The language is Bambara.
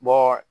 Bɔ